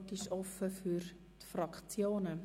Das Wort ist offen für die Fraktionen.